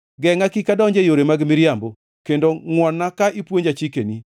Gengʼa kik adonji e yore mag miriambo, kendo ngʼwon-na ka ipuonja chikni.